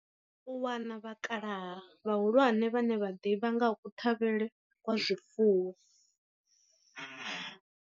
U wana vhakalaha vhahulwane vhane vha ḓivha nga ha kuṱhavhele kwa zwifuwo.